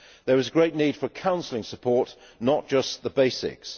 There is a great need for counselling support, not just the basics.